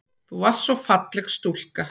Þú varst svo falleg stúlka.